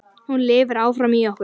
Hún lifir áfram í okkur.